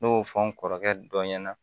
N y'o fɔ n kɔrɔkɛ dɔ ɲɛna